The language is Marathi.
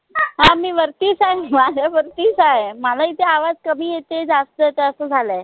हा मी वरतीच आय माझ्या वरतीच आय मला इथे आवाज कमी येते जास्त येतय असं झालय